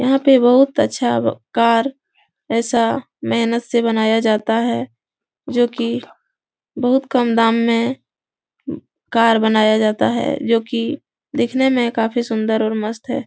यहाँ पे बहुत अच्छा कार ऐसा मेहनत से बनाया जाता है जो कि बहुत कम दाम में कार बनाया जाता है जो कि दिखने में काफ़ी सुन्दर और मस्त है।